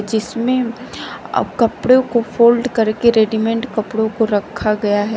जिसमें अ कपड़ों को फोल्ड करके रेडीमेंट कपड़ों को रखा गया है।